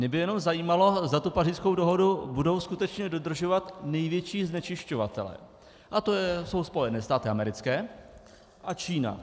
Mě by jenom zajímalo, zda tu Pařížskou dohodu budou skutečně dodržovat největší znečišťovatelé, a to jsou Spojené státy americké a Čína.